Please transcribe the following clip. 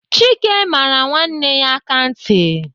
Chike mara nwanne ya aka ntị.